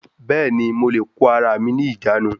Bẹ́ẹ̀ni, mo lè kó ara mi ní ìjánu